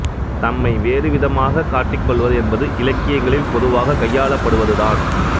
தம்மை வேறுவிதமாகக் காட்டிக் கொள்வது என்பது இலக்கியங்களில் பொதுவாக கையாளப்படுவதுதான்